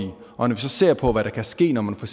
og når vi så ser på hvad der kan ske når man for